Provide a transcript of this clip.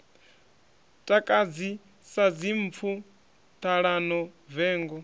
takadzi sa dzimpfu ṱhalano vengo